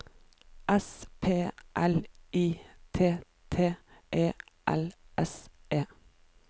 S P L I T T E L S E